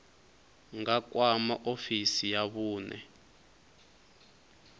nga kwama ofisi ya vhune